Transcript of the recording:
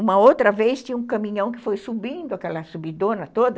Uma outra vez tinha um caminhão que foi subindo aquela subidona toda,